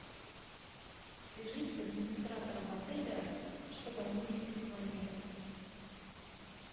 свяжись с администратором отеля чтобы они мне перезвонили